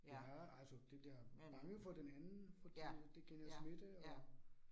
Ja altså det der bange for den anden fordi at det kan jo smitte og